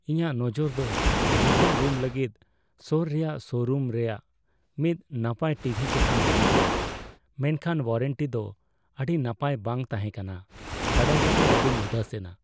ᱤᱧᱟᱹᱜ ᱱᱚᱡᱚᱨ ᱫᱚ ᱞᱤᱵᱷᱤᱝ ᱨᱩᱢ ᱞᱟᱹᱜᱤᱫ ᱥᱳᱨ ᱨᱮᱭᱟᱜ ᱥᱳᱨᱩᱢ ᱨᱮᱭᱟᱜ ᱢᱤᱫ ᱱᱟᱯᱟᱭ ᱴᱤᱵᱷᱤ ᱪᱮᱛᱟᱱ ᱛᱟᱦᱮᱸᱠᱟᱱᱟ, ᱢᱮᱱᱠᱷᱟᱱ ᱳᱣᱟᱨᱮᱱᱴᱤ ᱫᱚ ᱟᱹᱰᱤ ᱱᱟᱯᱟᱭ ᱵᱟᱝ ᱛᱟᱦᱮᱸ ᱠᱟᱱᱟ ᱵᱟᱲᱟᱭ ᱠᱟᱛᱮ ᱟᱹᱰᱤᱧ ᱩᱫᱟᱹᱥᱮᱱᱟ ᱾